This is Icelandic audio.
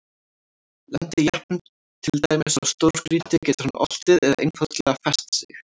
Lendi jeppinn til dæmis á stórgrýti getur hann oltið eða einfaldlega fest sig.